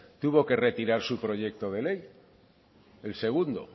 tuvo que retirar su proyecto de ley el segundo